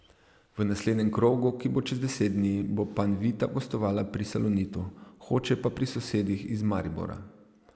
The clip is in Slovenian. V naslednjem krogu, ki bo čez deset dni, bo Panvita gostovala pri Salonitu, Hoče pa pri sosedih iz Maribora.